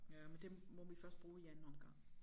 Ja men dem må vi først bruge i anden omgang